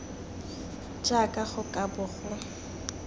jaaka go ka bo go